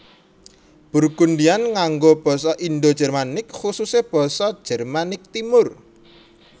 Burgundian nganggo basa Indo Jermanik khususé basa Jermanik Timur